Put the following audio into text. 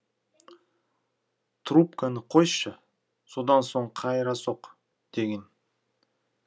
трубканы қойшы содан соң қайыра соқ деген